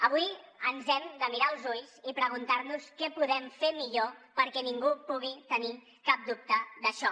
avui ens hem de mirar als ulls i preguntar nos què podem fer millor perquè ningú pugui tenir cap dubte d’això